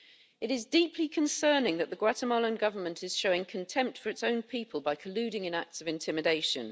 It is deeply concerning that the Guatemalan Government is showing contempt for its own people by colluding in acts of intimidation.